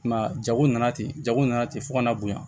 I m'a ye jago nana ten jago nana ten fo ka na bonya